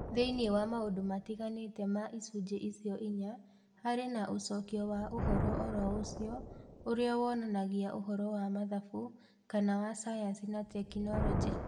Thĩinĩ wa maũndũ matiganĩte ma icunjĩ icio inya, harĩ na ũcokio wa ũhoro o ro ũcio, ũrĩa wonanagia ũhoro wa mathabu kana wa sayansi na tekinolonjĩ.